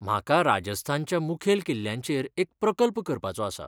म्हाका राजस्थानच्या मुखेल किल्ल्यांचेर एक प्रकल्प करपाचो आसा.